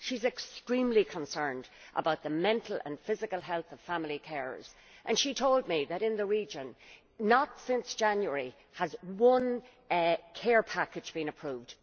She is extremely concerned about the mental and physical health of family carers and she told me that, in the region, not since January has one care package been approved.